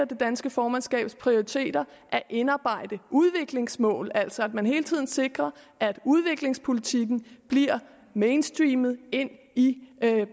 det danske formandskabs prioriteter at indarbejde udviklingsmål at man altså hele tiden sikrer at udviklingspolitikken bliver mainstreamet ind i